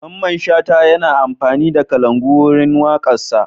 Mamman Shata yana amfani da kalangu wurin waƙarsa.